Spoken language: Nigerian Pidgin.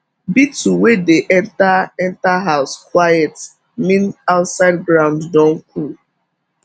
beetle wey dey enter enter house quiet mean outside ground don cool